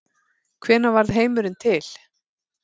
Hvenær varð heimurinn til?